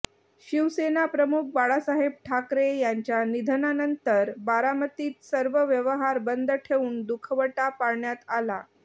शिवसेनाप्रमुख बाळासाहेब ठाकरे यांच्या निधनानंतर बारामतीत सर्व व्यवहार बंद ठेवून दुखवटा पाळण्यात आला